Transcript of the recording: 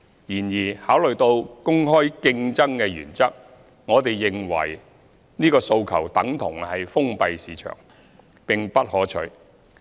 然而，考慮到公開競爭的原則，我們認為此訴求等同封閉市場，並不可取。